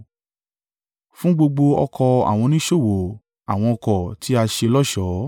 fún gbogbo ọkọ̀ àwọn oníṣòwò àwọn ọkọ̀ tí a ṣe lọ́ṣọ̀ọ́.